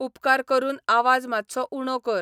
उपकार करून आवाज मात्सो उणो कर